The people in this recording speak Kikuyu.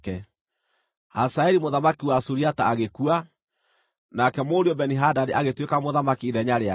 Hazaeli mũthamaki wa Suriata agĩkua, nake mũriũ Beni-Hadadi agĩtuĩka mũthamaki ithenya rĩake.